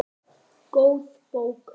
Góð bók.